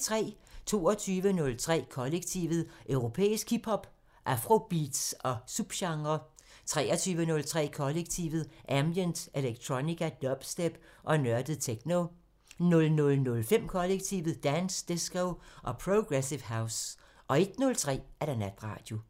22:03: Kollektivet: Europæisk hip hop, afrobeats og subgenrer 23:03: Kollektivet: Ambient, electronica, dubstep og nørdet techno 00:05: Kollektivet: Dance, disco og progressive house 01:03: Natradio